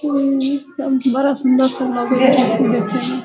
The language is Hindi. उम सब बड़ा सुन्दर सा लगे है देखे में |